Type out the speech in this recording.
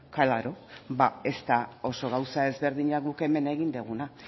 klaro ba ez da oso gauza ezberdina guk hemen egin duguna